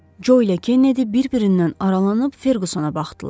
Co ilə Kennedi bir-birindən aralanıb Ferqusana baxdılar.